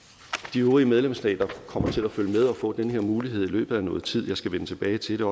de øvrige medlemsstater kommer til at følge med og får den her mulighed i løbet af noget tid jeg skal vende tilbage til